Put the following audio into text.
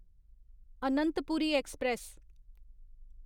Anantpuri express